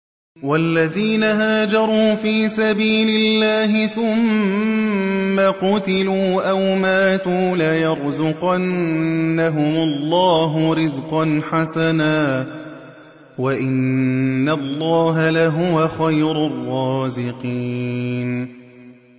وَالَّذِينَ هَاجَرُوا فِي سَبِيلِ اللَّهِ ثُمَّ قُتِلُوا أَوْ مَاتُوا لَيَرْزُقَنَّهُمُ اللَّهُ رِزْقًا حَسَنًا ۚ وَإِنَّ اللَّهَ لَهُوَ خَيْرُ الرَّازِقِينَ